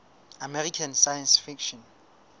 american science fiction